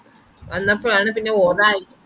അന്നപ്പോ അതിനു പിന്നെ ഒറായ്